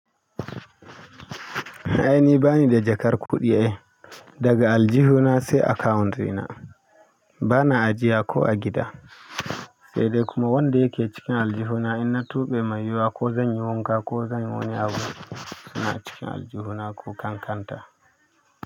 Ai ni bani da jakar kuɗi eh, daga aljihuna sai account ɗina. Bana ajiya ko a gida, sai dai kuma wanda yake cikin aljihuna in na tuɓe mai yiwuwa ko zanyi wanka ko zanyi wani abu, suna cikin aljihuna ko kankanta.